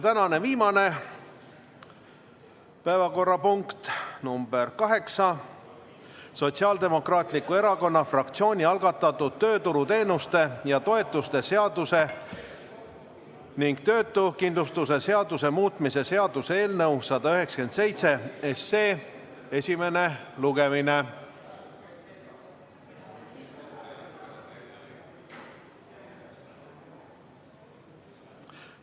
Tänane viimane päevakorrapunkt, nr 8, on Sotsiaaldemokraatliku Erakonna fraktsiooni algatatud tööturuteenuste ja -toetuste seaduse ning töötuskindlustuse seaduse muutmise seaduse eelnõu 197 esimene lugemine.